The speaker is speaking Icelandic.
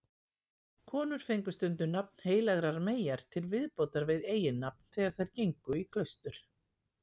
Konur fengu stundum nafn heilagrar meyjar til viðbótar við eiginnafn þegar þær gengu í klaustur.